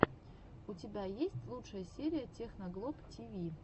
у тебя есть лучшая серия техноглоб тиви